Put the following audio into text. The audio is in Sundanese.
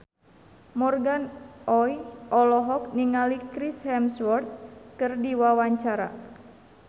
Morgan Oey olohok ningali Chris Hemsworth keur diwawancara